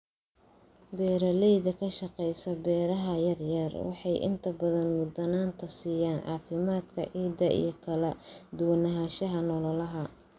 Beeraleyda ka shaqeysa beeraha yaryar waxay inta badan mudnaanta siiyaan caafimaadka ciidda iyo kala duwanaanshaha noolaha.